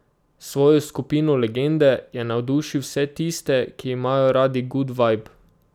S svojo skupino Legende je navdušil vse tiste, ki imajo radi gud vajb.